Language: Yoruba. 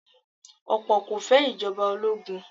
Ọ̀pọ̀ kò fẹ́ Ìjọba ológun